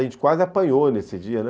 A gente quase apanhou nesse dia, né?